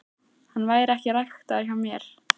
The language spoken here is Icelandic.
Hann væri ekki ræktaður hjá mér.